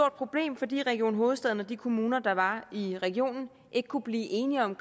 problem fordi region hovedstaden og de kommuner der var i regionen ikke kunne blive enige om